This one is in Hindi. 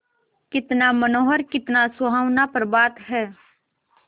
कितना मनोहर कितना सुहावना प्रभात है